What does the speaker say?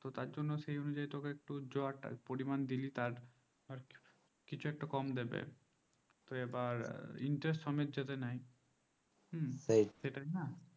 ও তার জন্য সেই অনুযায়ীই তোকে য হাজার দিলি তুই যতটা পরমান দিলি কিছু একটা কম দিবে তো এবার interest সমেত যেতেই নাই